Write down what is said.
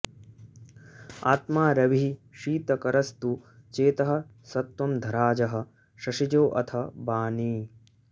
आत्मा रविः शीतकरस्तु चेतः सत्त्वं धराजः शशिजोऽथ वाणी